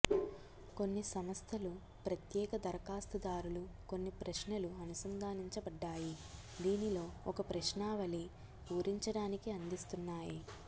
కొన్ని సంస్థలు ప్రత్యేక దరఖాస్తుదారులు కొన్ని ప్రశ్నలు అనుసంధానించబడ్డాయి దీనిలో ఒక ప్రశ్నావళి పూరించడానికి అందిస్తున్నాయి